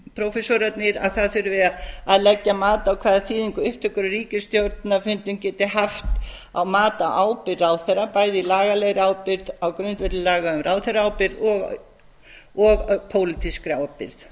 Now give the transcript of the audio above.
prófessorarnir að það þurfi að leggja mat á hvaða upptökur á ríkisstjórnarfundum geti haft á mat á ábyrgð ráðherra bæði lagalegri ábyrgð á grundvelli laga um ráðherraábyrgð og pólitískri